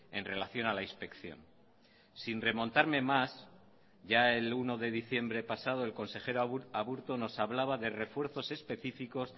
en relación a la inspección sin remontarme más ya el uno de diciembre pasado el consejero aburto nos hablaba de refuerzos específicos